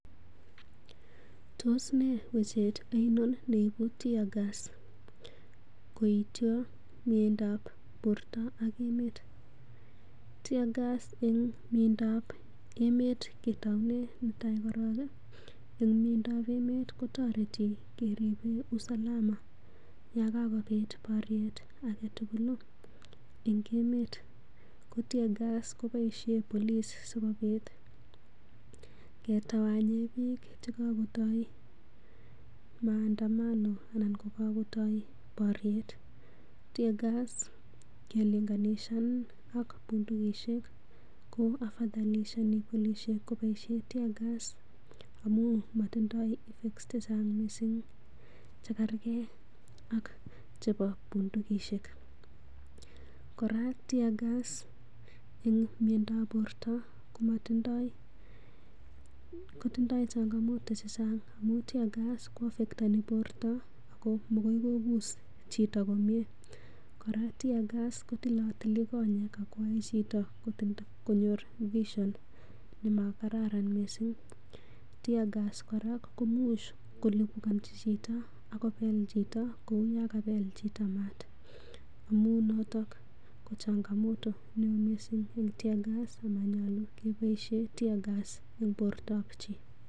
Tos nee wechet oinon neibuu 'tear gas' koityo miendab borto ak emet? Tear gas en miendap emet ketounen netai korong en mieindap emet, kotoreti keripen usalama yon kagobit boryet age tugul en ngemet. Ko tear gas koboisie police sikobit kettawanyen biik che kagotoi maandamano anan kagotoi boryet. Tear gas ngelinganishan ak bundukishek ko afadhalshani polisiek koboisei tear gas amun motindoi effects che chang mising chekerge ak chebo bundukishek. Kora tear gas en miandap borto kotindoi changamoto che chang amun tear gas ko affceteni borto ago magoi kobus chito komye. Kora tear gas kotilotili konyek ago yoe chito konyor vision nemakararan misin. Tear gas kora komuch kolipukanchi chito ak kobel chito kou yan kabel chito maat. Amun noto ko changamoto neo mising en tear gas amanyolu keboisie tear gas en bortab chi.